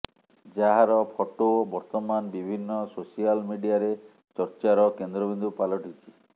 ଯାହାର ଫଟୋ ବର୍ତ୍ତମାନ ବିଭିନ୍ନ ସୋସିଆଲ ମିଡିଆରେ ଚର୍ଚ୍ଚାର କେନ୍ଦ୍ରବିନ୍ଦୁ ପାଲଟିଛି